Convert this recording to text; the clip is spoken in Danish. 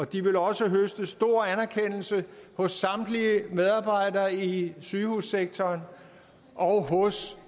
de vil også høste stor anerkendelse hos samtlige medarbejdere i sygehussektoren og hos